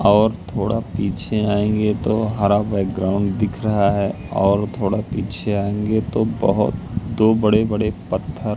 और थोड़ा पीछे आएंगे तो हरा बैकग्राउंड दिख रहा है और थोड़ा पीछे आएंगे तो बहोत दो बड़े बड़े पत्थर--